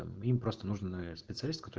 им просто нужен специалист который